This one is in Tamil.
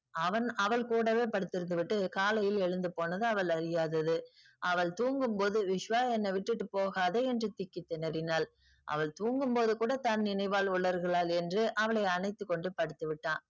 அவன் அவள் கூடவே படுத்திருந்துவிட்டு காலையில் எழுந்து போனது அவள் அறியாதது. அவள் தூங்கும் போது விஸ்வா என்னை விட்டுட்டு போகாதே என்று திக்கி திணறினாள். அவள் தூங்கும் போது கூட தன் நினைவால் உளருகிறாள் என்று அவளை அணைத்து கொண்டு படுத்து விட்டான்.